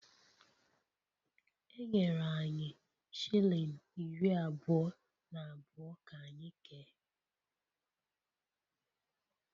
Enyere anyị shilling iri abụọ na abụọ ka anyị kee